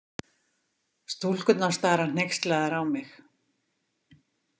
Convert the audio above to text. Stúlkurnar stara hneykslaðar á mig.